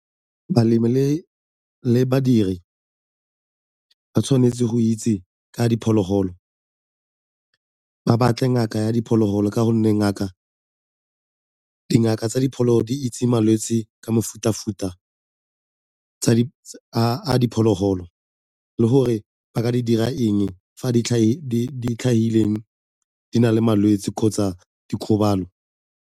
Balemi le badiri ba tshwanetse go itse ka diphologolo, ba batle ngaka ya diphologolo ka gonne dingaka tsa diphologolo di itse malwetse ka mefuta-futa a diphologolo le gore ba ka di dira eng fa di tlhagile di na le malwetse kgotsa dikgobalo.